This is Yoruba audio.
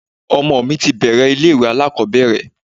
Ọmọ mi ti bẹ̀ẹ̀rẹ̀ ilé ìwé alákọ̀ọ́bẹ̀rẹ̀.